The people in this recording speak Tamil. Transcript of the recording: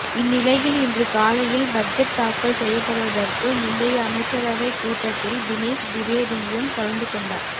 இந்நிலையில் இன்று காலையில் பட்ஜெட் தாக்கல் செய்யப்படுவதற்கு முந்தைய அமைச்சரவைக் கூட்டத்தில் தினேஷ் திவேதியும் கலந்து கொண்டார்